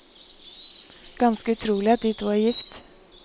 Ganske utrolig at de to er gift.